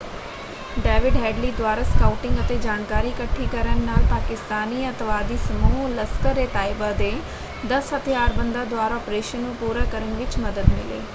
David Headley ਦੁਆਰਾ scouting ਅਤੇ ਜਾਣਕਾਰੀ ਇਕੱਠੀ ਕਰਨ ਨਾਲ ਪਾਕਿਸਤਾਨੀ ਅੱਤਵਾਦੀ ਸਮੂਹ ਲਸਖਰ-ਏ-ਤਾਇਬਾ ਦੇ 10 ਹਥਿਆਰਬੰਦਾਂ ਦੁਆਰਾ ਆਪਰੇਸ਼ਨ ਨੂੰ ਪੂਰਾ ਕਰਨ ਵਿੱਚ ਮਦਦ ਮਿਲੀ।